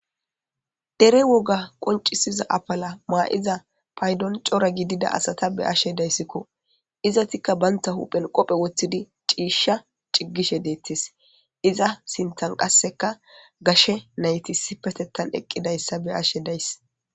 Dere woga qoncisiza apala maa7iza paydon cora gidida asata be7ashe dayssikko. Izatikka bantta huphen qophe woththidi ciishsha ciggishe deettes. Iza sinttan qasseka gashe nayti issipetettan eqqidayssa be7ashe days.